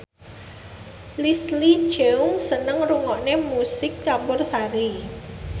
Leslie Cheung seneng ngrungokne musik campursari